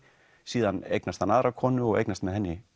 síðan eignast hann aðra konu og eignast með henni